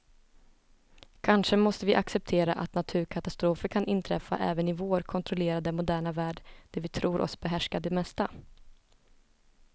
Kanske måste vi acceptera att naturkatastrofer kan inträffa även i vår kontrollerade, moderna värld där vi tror oss behärska det mesta.